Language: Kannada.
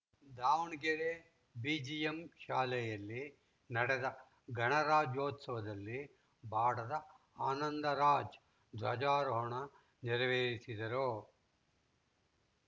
ದಾವಣಗೆರೆ ಬಿಜಿಎಂ ಶಾಲೆಯಲ್ಲಿ ನಡೆದ ಗಣರಾಜ್ಯೋತ್ಸವದಲ್ಲಿ ಬಾಡದ ಆನಂದರಾಜ ಧ್ವಜಾರೋಹಣ ನೆರವೇರಿಸಿದರು